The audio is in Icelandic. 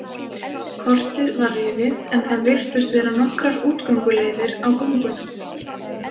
Kortið var rifið en það virtust vera nokkrar útgönguleiðir á göngunum.